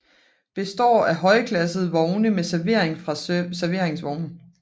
Består af højklassede vogne med servering fra serveringsvogn